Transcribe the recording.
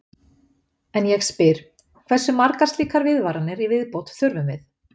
En ég spyr: Hversu margar slíkar viðvaranir í viðbót þurfum við?